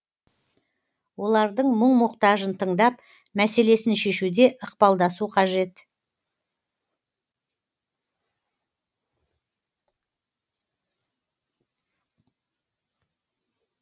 олардың мұң мұқтажын тыңдап мәселесін шешуде ықпалдасу қажет